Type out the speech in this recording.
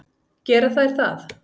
Gera þær það?